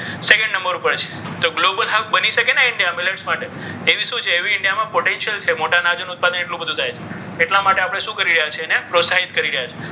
second number ઉપર છીએ. તો global help બની શકે ને india millets માટે. એવી શું છે? એવી india potential છે. મોટા આનાજૂનું ઉત્પાદન એટલું બધું થાય છે. એટલા માટે આપણે શું કરી રહ્યા છીએ? એને પ્રોત્સાહિત કરી રહ્યા છે.